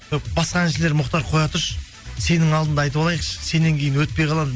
басқа әншілер мұхтар қоя тұршы сенің алдыңда айтып алайықшы сеннен кейін өтпей қалам